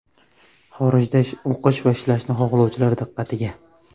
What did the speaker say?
Xorijda o‘qish va ishlashni xohlovchilar diqqatiga.